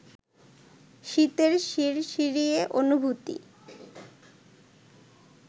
শীতের শিরশিরে অনুভূতি